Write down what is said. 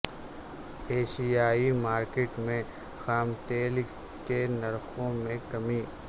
ایشیائی مارکیٹ میں خام تیل کے نرخوں میں کمی